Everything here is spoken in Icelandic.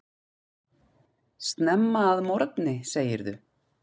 Snemma að morgni segirðu.